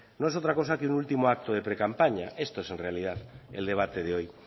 no es otra cosa que un último acto de precampaña esto es en realidad el debate de hoy